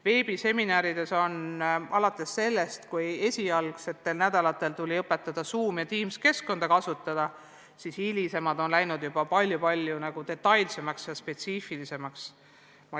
Veebiseminaridel tuli esimestel nädalatel õpetada Zoomi ja Teamsi keskkonna kasutamist, seevastu hilisemad on läinud juba palju-palju detailsemaks ja spetsiifilisemaks.